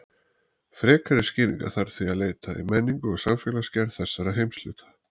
Frekari skýringa þarf því að leita í menningu og samfélagsgerð þessara heimshluta.